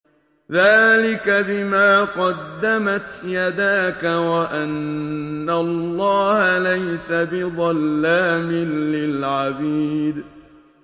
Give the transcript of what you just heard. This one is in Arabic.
ذَٰلِكَ بِمَا قَدَّمَتْ يَدَاكَ وَأَنَّ اللَّهَ لَيْسَ بِظَلَّامٍ لِّلْعَبِيدِ